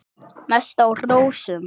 Mest á rósum.